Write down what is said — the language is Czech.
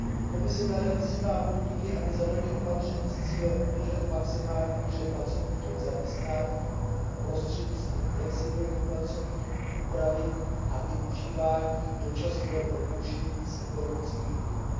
Komise dále vyzývá podniky, aby zavedly opatření s cílem udržet v maximální míře pracovníky v zaměstnání prostřednictvím flexibilní pracovní úpravy a využívání dočasného propuštění z ekonomických důvodů.